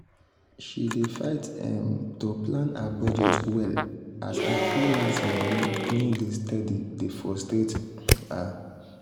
she dey fight um to plan her budget well as her freelance money no dey steady dey frustrate um her.